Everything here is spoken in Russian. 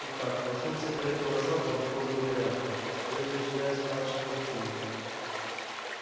итак начнём собирать голоса по законному порядку то есть начиная с младших по чину